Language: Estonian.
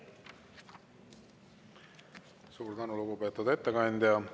Suur tänu, lugupeetud ettekandja!